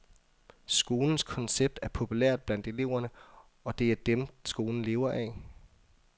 Skolens koncept er populært blandt eleverne, og det er dem, skolen lever af.